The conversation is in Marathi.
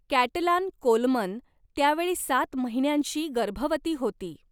कॅटलान कोलमन त्यावेळी सात महिन्यांची गर्भवती होती.